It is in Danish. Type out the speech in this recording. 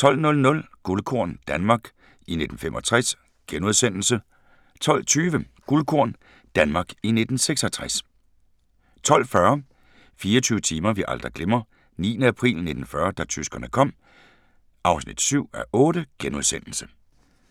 12:00: Guldkorn – Danmark i 1965 * 12:20: Guldkorn – Danmark i 1966 12:40: 24 timer vi aldrig glemmer: 9. april 1940 – da tyskerne kom (7:8)*